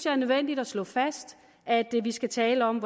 er nødvendigt at slå fast at det vi skal tale om